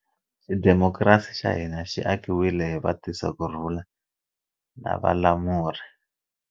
Xidimokirasi xa hina xi akiwile hi vatisakurhula na valamuri.